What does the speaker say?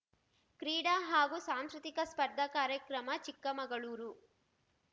ಕ್ರೀಡಾ ಹಾಗೂ ಸಾಂಸ್ಕೃತಿಕ ಸ್ಪರ್ಧಾ ಕಾರ್ಯಕ್ರಮ ಚಿಕ್ಕಮಗಳೂರು